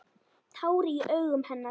Tár í augum hennar.